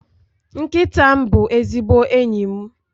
Nkịta m bụ ezigbo enyi m